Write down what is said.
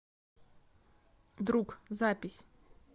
друг запись